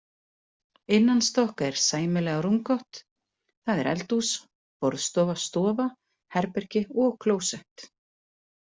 Innanstokks er sæmilega rúmgott, það er eldhús, borðstofa, stofa, herbergi og klósett.